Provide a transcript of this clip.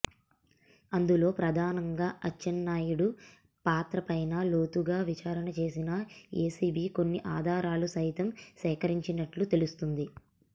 అందులో ప్రధానంగా అచ్చెన్నాయుడు పాత్ర పైన లోతుగా విచారణ చేసిన ఏసీబీ కొన్ని ఆధారాలు సైతం సేకరించినట్లు తెలుస్తోంది